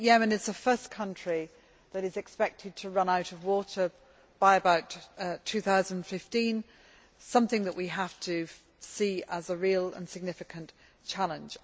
I think Yemen is the first country that is expected to run out of water by about 2015, something which we have to see as a real and significant challenge.